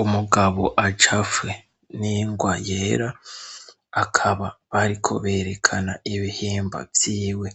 Umugabo acafwe n'ingwa yera, bakaba bariko berekana ibihimba vyiwe